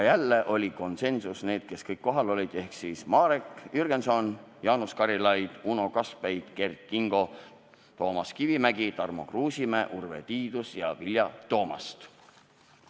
Jälle saavutasime konsensuse nende seas, kes kohal olid: Marek Jürgenson, Jaanus Karilaid, Uno Kaskpeit, Kert Kingo, Toomas Kivimägi, Tarmo Kruusimäe, Urve Tiidus ja Vilja Toomast.